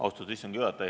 Austatud istungi juhataja!